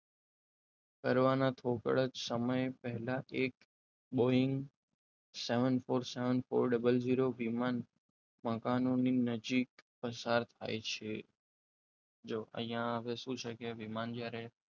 કરવાના થોડાક સમય પહેલા જ એક Boeing seven four seven four zero zero વિમાન મકાનોની નજીક પસાર થાય છે. જો અહીંયા આ શું છે કે વિમાન જ્યારે,